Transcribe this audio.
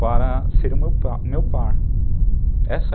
para ser o meu meu par. Essa